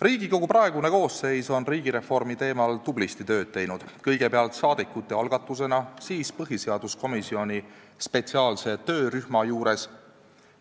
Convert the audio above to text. Riigikogu praegune koosseis on riigireformi teemal tublisti tööd teinud, kõigepealt saadikute algatusena, siis põhiseaduskomisjoni spetsiaalse töörühma juures